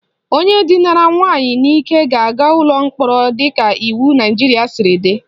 Onye dinara nwaanyị n'ike ga-aga ụlọ mkpọrọ dịka iwu Naijiria siri dị